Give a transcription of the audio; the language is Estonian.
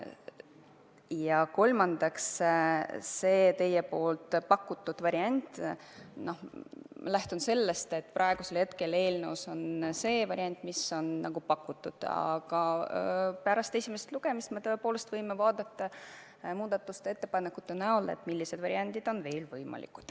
Ja kolmandaks, mis puutub teie pakutud varianti, siis ma lähtun sellest, et praegu on eelnõus üks võimalik variant, aga pärast esimest lugemist me tõepoolest võime arutada muudatusettepanekuid, millised variandid on veel võimalikud.